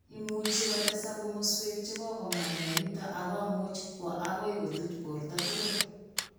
Imuchi kotesak komaswek chekokong'em mionitok ak komuch kwo akoi kotuch borto tugul